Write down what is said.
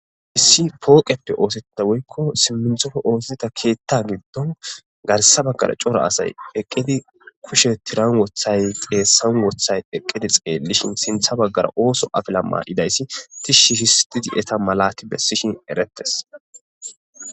Issi pooqeppe oosetta woykko simminthofo oosita keetta giddon garsa baggara cora asay eqqidi kushe tiran wothay xeessan wothay eqqidi xeellishin sintha baggara ooso afila maad7idayssi tishshi histidi eta malati bessishin erettes.